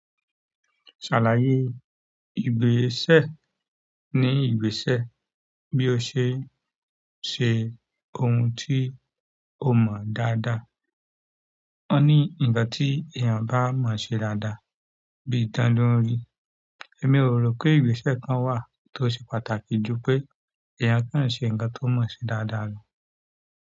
"Ṣàlàyé ìgbésẹ̀ ní ìgbésẹ̀ bí ó ṣe n ṣe ohun tí o mọ́ dáadáa." Wọ́n ní ǹkan tí èèyàn bá mọ n ṣe dáadáa bí ìdan ló ń rí. Èmi ò ro pé ìgbésẹ̀ kan wà tó ṣe pàtàkì ju pé èèyàn kan ṣe ǹkan tó mọ̀ ṣe dáadáa lọ.